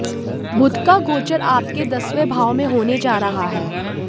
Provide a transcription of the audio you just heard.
बुध का गोचर आपके दसवें भाव में होने जा रहा है